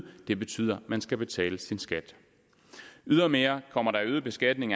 det betyder man skal betale sin skat ydermere kommer der øget beskatning